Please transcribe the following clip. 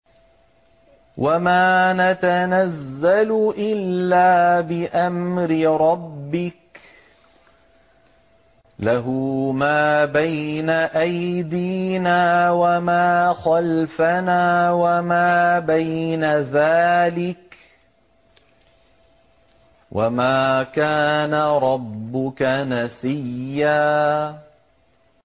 وَمَا نَتَنَزَّلُ إِلَّا بِأَمْرِ رَبِّكَ ۖ لَهُ مَا بَيْنَ أَيْدِينَا وَمَا خَلْفَنَا وَمَا بَيْنَ ذَٰلِكَ ۚ وَمَا كَانَ رَبُّكَ نَسِيًّا